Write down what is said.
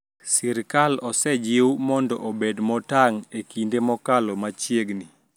Sirikal osejiw mondo obed motang` e kinde mokalo machiegni